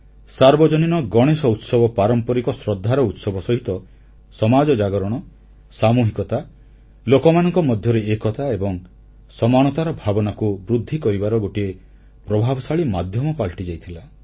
ସାର୍ବଜନୀନ ଗଣେଶ ଉତ୍ସବ ପାରମ୍ପରିକ ଶ୍ରଦ୍ଧାର ଉତ୍ସବ ସହିତ ସମାଜ ଜାଗରଣ ସାମୁହିକତା ଲୋକମାନଙ୍କ ମଧ୍ୟରେ ଏକତା ଏବଂ ସମାନତାର ଭାବନାକୁ ବୃଦ୍ଧି କରିବାର ଗୋଟିଏ ପ୍ରଭାବଶାଳୀ ମାଧ୍ୟମ ପାଲଟିଯାଇଥିଲା